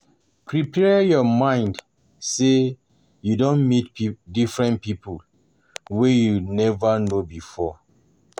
Prepare your mind sey you don meet pipo different pipo wey you nova know before